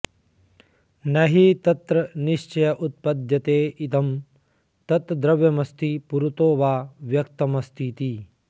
न हि तत्र निश्चय उत्पद्यते इदं तद्द्रव्यमस्ति पुरतो वा व्यक्तमस्तीति